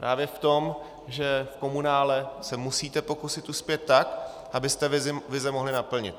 Právě v tom, že v komunále se musíte pokusit uspět tak, abyste vize mohli naplnit.